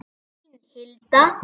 Þín Hilda.